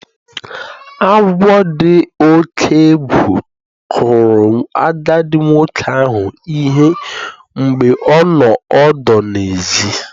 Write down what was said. Agwọ dị oke egwu kụrụ agadi nwoke ahụ ihe mgbe ọ nọ ọdụ n'èzí